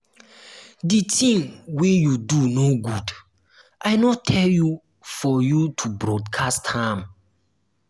the thing wey you do no good i no tell you for you to broadcast am.